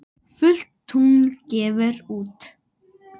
Fullt tungl gefur út.